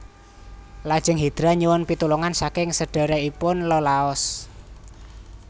Lajeng Hidra nyuwun pitulungan saking sedhèrèkipun Iolaos